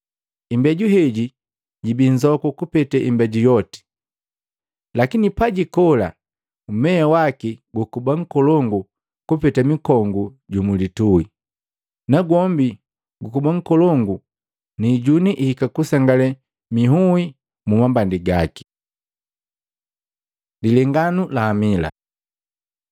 Imbeju heji jibii nzoku kupete imbeju yoti, lakini pajikola, mmea waki gukuba nkolongu kupeta mikongu ju mulitui. Nagwombi gukuba nkolongu ni ijuni ihika nukusengale miui mu mambandi gaki.” Lilenganu la amila Luka 13:20-21